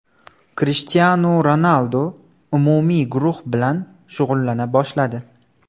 Krishtianu Ronaldu umumiy guruh bilan shug‘ullana boshladi .